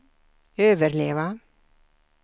överleva